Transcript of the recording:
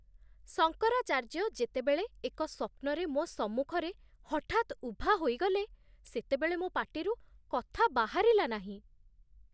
ଶଙ୍କରାଚାର୍ଯ୍ୟ ଯେତେବେଳେ ଏକ ସ୍ୱପ୍ନରେ ମୋ ସମ୍ମୁଖରେ ହଠାତ୍ ଉଭା ହୋଇଗଲେ, ସେତେବେଳେ ମୋ ପାଟିରୁ କଥା ବାହାରିଲା ନାହିଁ।